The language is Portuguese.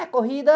É corrida?